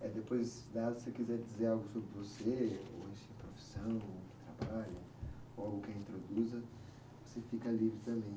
Eh, depois tá, se você quiser dizer algo sobre você, ou sua profissão, trabalho, ou algo que a introduza, você fica livre também.